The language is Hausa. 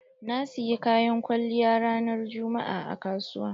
Na siyi Kayan kwaliya ran juma'a a kasuwa.